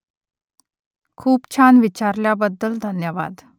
खूप छान विचारल्याबद्दल धन्यवाद